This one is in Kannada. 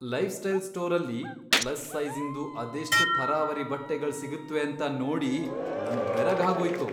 ಲೈಫ್ಸ್ಟೈಲ್ ಸ್ಟೋರಲ್ಲಿ ಪ್ಲಸ್ ಸೈಜಿ಼ಂದು ಅದೆಷ್ಟ್ ಥರಾವರಿ ಬಟ್ಟೆಗಳ್ ಸಿಗತ್ವೇಂತ ನೋಡಿ ನಂಗ್ ಬೆರಗಾಗ್ಹೋಯ್ತು.